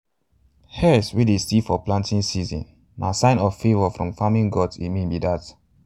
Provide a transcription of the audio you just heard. hares wey dey see for planting season um na um signs of favour from farming gods e mean be dat.